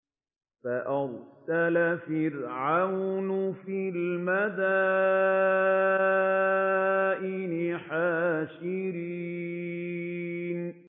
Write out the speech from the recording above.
فَأَرْسَلَ فِرْعَوْنُ فِي الْمَدَائِنِ حَاشِرِينَ